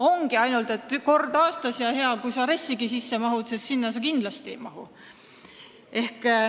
Ongi ainult kord aastas ja hea, kui sa RES-igi sisse mahud, sest tegelikult sa sinna kindlasti ei mahu.